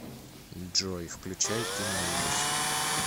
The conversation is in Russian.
джой включай киноужас